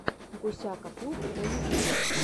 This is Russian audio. гусяка клуб на ютюбе